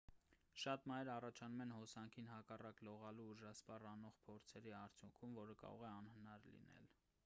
շատ մահեր առաջանում են հոսանքին հակառակ լողալու ուժասպառ անող փորձերի արդյունքում որը կարող է անհնար լինել